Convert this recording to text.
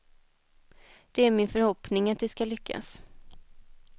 Det är min förhoppning att det skall lyckas.